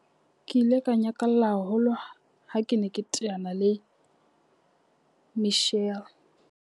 Ke ile ka nyakalla haholo ha ke ne ke teana le Michelle.